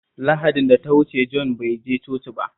Lahadin da ta wuce Jon bai je coci ba